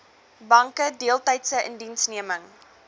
banke deeltydse indiensneming